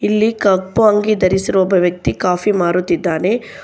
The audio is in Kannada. ಇಲ್ಲಿ ಕಪ್ಪು ಅಂಗಿ ಧರಿಸಿರುವ ಒಬ್ಬ ವ್ಯಕ್ತಿ ಕಾಫಿ ಮಾರುತ್ತಿದ್ದಾನೆ.